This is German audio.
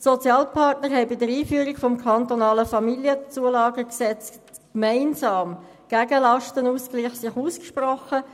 Die Sozialpartner haben sich bei der Einführung des kantonalen Gesetzes über die Familienzulagen (KFamZG) gegen den Lastenausgleich ausgesprochen.